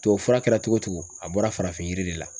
Tubabufura kɛra togo o togo a bɔra farafin yiri de la.